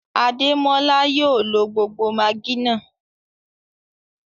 Adémọlá yóò ló gbogbo maggi náà.